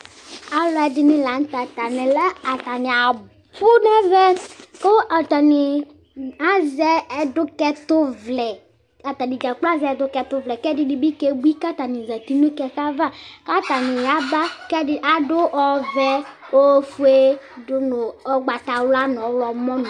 Alɛdini la nu tɛ atani abu nɛvɛ ku atani azɛ ɔdukɛtu vlɛ kɛdini ke bui katani zati nu kɛkɛ ava katani ya ba kɛdini ɔvɛ ofue du nu ugbatawla dibi ɔɣlomɔ ni